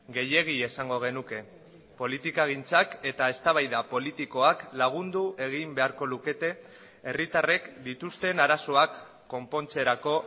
gehiegi esango genuke politikagintzak eta eztabaida politikoak lagundu egin beharko lukete herritarrek dituzten arazoak konpontzerako